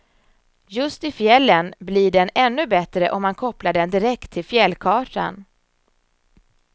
Just i fjällen blir den ännu bättre om man kopplar den direkt till fjällkartan.